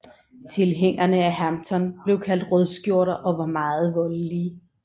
Tilhængerne af Hampton blev kaldt rødskjorter og var meget voldelige